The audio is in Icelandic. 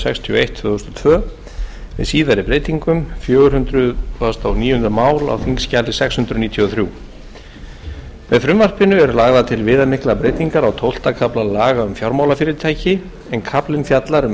sextíu og eitt tvö þúsund og tvö með síðari breytingum fjögur hundruð og níunda mál á þingskjali sex hundruð níutíu og þrjú með frumvarpinu eru lagðar til viðamiklar breytingar á tólfta kafla laga um fjármálafyrirtæki en kaflinn fjallar um